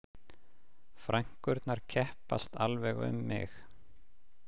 Frænkurnar keppast alveg um mig